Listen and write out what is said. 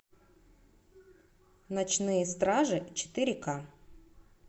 ночные стражи четыре ка